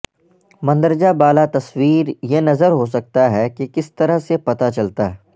مندرجہ بالا تصویر یہ نظر ہو سکتا ہے کہ کس طرح سے پتہ چلتا ہے